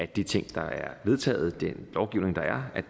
de ting der er vedtaget gennem